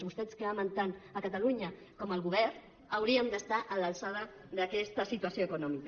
vostès que amen tant catalunya com el govern haurien d’estar a l’alçada d’aquesta situació econòmica